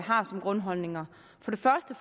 har som grundholdninger for det første